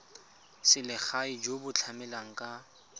selegae jo bo tlamelang ka